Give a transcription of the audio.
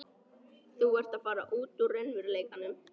Þú ert að fara út úr raunveruleikanum.